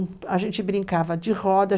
A gente brincava de roda.